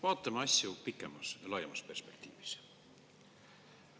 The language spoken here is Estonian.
Vaatame asju pikemas, laiemas perspektiivis.